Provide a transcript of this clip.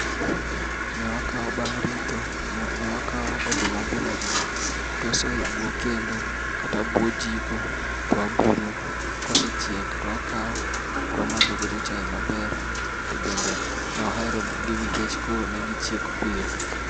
Ne wakaw, bang ritho, ne wakaw oduma bila gi to wasoyo e buo kendo kata buo jiko to wabulo. Kosechiek to wakaw to wamadho godo chai maber tobende ne waherogi nikech koro ne gichiek piyo